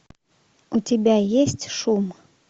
у тебя есть шум